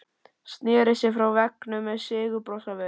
Sneri sér frá veggnum með sigurbros á vör.